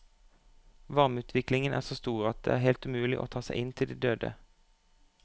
Varmeutviklingen er så stor at det er helt umulig å ta seg inn til de døde.